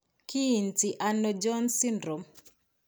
Kiinti ano Jones syndrome?